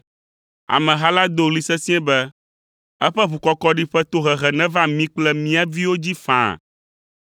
Ameha la do ɣli sesĩe be, “Eƒe ʋukɔkɔɖi ƒe tohehe neva mí kple mía viwo dzi faa!”